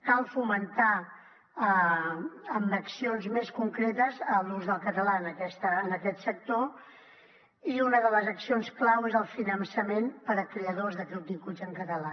cal fomentar amb accions més concretes l’ús del català en aquest sector i una de les accions clau és el finançament per a creadors de continguts en català